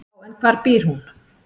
"""Já, en hvar býr hún?"""